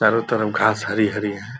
चारो तरफ घास हरी-हरी है।